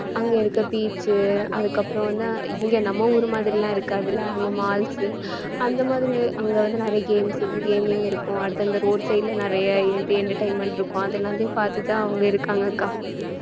அங்க இருக்க beach உ அதுக்கப்புறம் வந்து இங்க நம்ம ஊர் மாதிரி எல்லாம் இருக்காதல்ல அங்க malls உ அந்த மாதிரி அங்க வந்து நிறைய games உ gaming இருக்கும் அடுத்து அந்தந்த road side ல நிறைய entertainment இருக்கும் அது எல்லாத்தையும் பார்த்துதான் அவங்க இருக்காங்க அக்கா